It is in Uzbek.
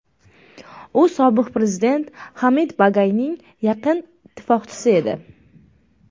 U sobiq prezident Hamid Bagaiyning yaqin ittifoqchisi edi.